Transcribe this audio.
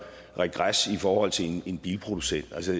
regres i forhold til en bilproducent altså